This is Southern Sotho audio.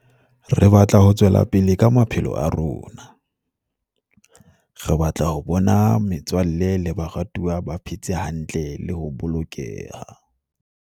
Re batla ho tswela pele ka maphelo a rona. Re batla ho bona metswalle le baratuwa ba phe tse hantle le ho bolokeha.